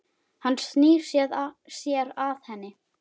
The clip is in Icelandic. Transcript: Hann snýr sér að henni.